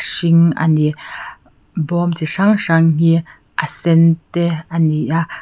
hring a ni bawm chi hrang hrang hi a sen te a ni a.